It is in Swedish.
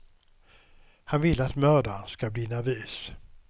Han vill att mördaren ska bli nervös.